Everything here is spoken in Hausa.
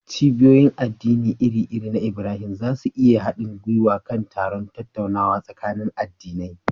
Cibiyoyin addini iri-iri na Ibrahim za su iya yin haɗin gwiwa kan taron tattaunawa tsakanin addinai.